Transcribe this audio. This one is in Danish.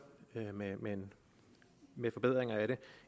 med forbedringer af det